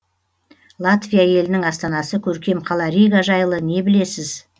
латвия елінің астанасы көркем қала рига жайлы не білесіз